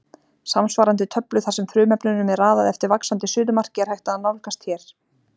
Samsvarandi töflu þar sem frumefnunum er raðað eftir vaxandi suðumarki er hægt að nálgast hér.